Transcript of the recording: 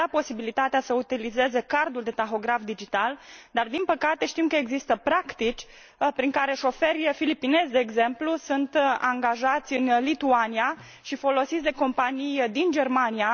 Le am dat posibilitatea să utilizeze cardul de tahograf digital, dar, din păcate, știm că există practici prin care șoferi filipinezi, de exemplu, sunt angajați în Lituania și folosiți de companii din Germania.